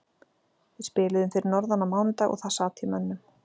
Við spiluðum fyrir norðan á mánudag og það sat í mönnum.